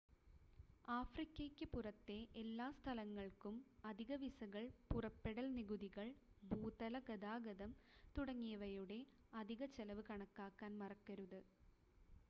ആഫ്രിക്കയ്ക്ക് പുറത്തെ എല്ലാ സ്ഥലങ്ങൾക്കും അധിക വിസകൾ പുറപ്പെടൽ നികുതികൾ ഭൂതല ഗതാഗതം തുടങ്ങിയവയുടെ അധിക ചെലവ് കണക്കാക്കാൻ മറക്കരുത്